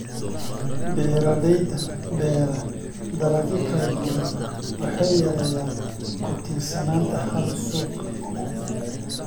Beeraleyda beera dalagyo kala duwan waxay yareeyaan ku tiirsanaanta hal suuq.